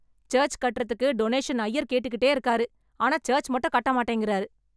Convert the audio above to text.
Search கட்றதுக்கு donation ஐயர் கேட்டுக்கிட்டே இருக்காரு. ஆனா சர்ச் மட்டும் கட்ட மாட்டேங்கிறாரு.